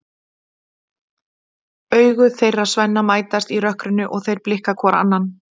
Augu þeirra Svenna mætast í rökkrinu og þeir blikka hvor annan.